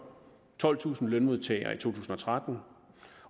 tolvtusind lønmodtagere i to tusind og tretten